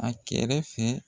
A kɛrɛ fɛ